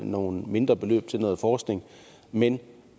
nogle mindre beløb til noget forskning men